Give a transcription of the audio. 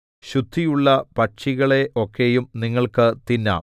ശുദ്ധിയുള്ള പക്ഷികളെയൊക്കെയും നിങ്ങൾക്ക് തിന്നാം